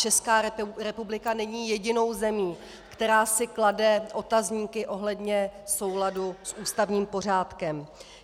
Česká republika není jedinou zemí, která si klade otazníky ohledně souladu s ústavním pořádkem.